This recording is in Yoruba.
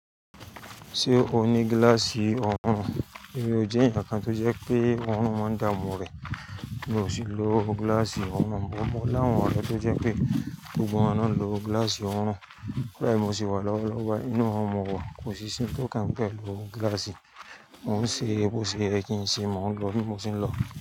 Ṣé o ní gíláàsì ọrùn? Èmi ò jẹ́ èèyàn kan tó jẹ́ pé oorun máa ń dààmú rẹ̀. Mi ò sì lo gíláàsì ọrùn, but mọ láwọn ọ̀rẹ́ tó jẹ́ pé gbogbo wọn náà ń lo gíláàsì ọrùn. Bẹ́ẹ̀ mo ṣì wà lọ́wọ́lọ́wọ́ báyìí, inú ọrùn mowà kòsí sí ń tó kan mi pẹ̀lú glass mọ ń ṣe e bó ṣe yẹ kí ń ṣe, mò ń lọ ní mo ṣe ń lọ.